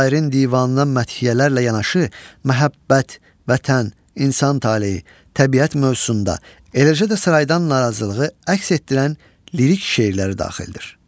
Şairin divanına məhəbbət, vətən, insan taleyi, təbiət mövzusunda, eləcə də saraydan narazılığı əks etdirən lirik şeirləri daxildir.